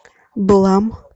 блам